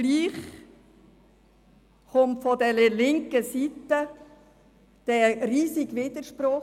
Trotzdem kommt von der linken Seite ein riesiger Widerspruch.